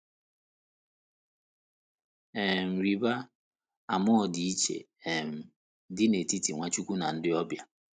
um Rịba ama ọdịiche um dị n’etiti Nwachukwu na ndị ọbịa.